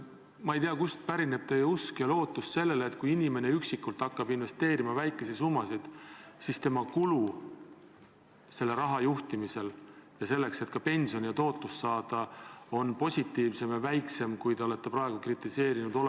Ma ei tea, kust pärineb teie usk sellesse, et kui inimene üksinda hakkab väikesi summasid investeerima, siis tema kulu selle raha juhtimisel, et suuremat tootlust saada, on positiivsem või väiksem kui praegused tasud, mida te olete kritiseerinud.